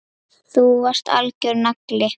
Þú varst algjör nagli.